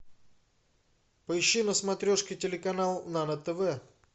поищи на смотрешке телеканал нано тв